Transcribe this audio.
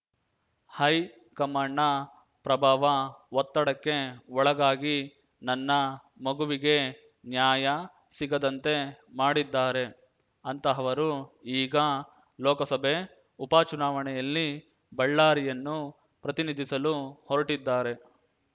ಹೈಕಮಾಂಡ್‌ನ ಪ್ರಭಾವ ಒತ್ತಡಕ್ಕೆ ಒಳಗಾಗಿ ನನ್ನ ಮಗುವಿಗೆ ನ್ಯಾಯ ಸಿಗದಂತೆ ಮಾಡಿದ್ದಾರೆ ಅಂತಹವರು ಈಗ ಲೋಕಸಭೆ ಉಪಚುನಾವಣೆಯಲ್ಲಿ ಬಳ್ಳಾರಿಯನ್ನು ಪ್ರತಿನಿಧಿಸಲು ಹೊರಟಿದ್ದಾರೆ